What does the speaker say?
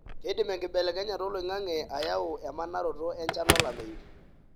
keidim enkibelekenyata oloingange ayau emanaroto enchan olameyu,